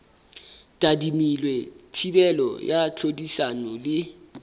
tadimilwe thibelo ya tlhodisano le